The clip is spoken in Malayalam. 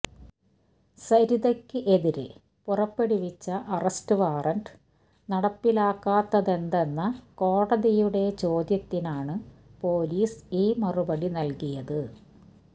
സരിതയ്ക്ക് എതിരെ പുറപ്പെടുവിച്ച അറസ്റ്റ് വാറന്റ് നടപ്പിലാക്കാത്തതെന്തെന്ന കോടതിയുടെ ചോദ്യത്തിനാണ് പൊലീസ് ഈ മറുപടി നൽകിയത്